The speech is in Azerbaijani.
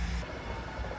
Hayde.